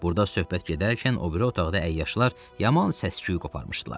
Burda söhbət gedərkən o biri otaqda əyyaşlar yaman səs-küyü qoparmışdılar.